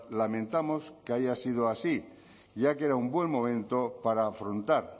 lamentamos que haya sido así ya que era un buen momento para afrontar